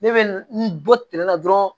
Ne bɛ n bɔ tɛnɛ na dɔrɔn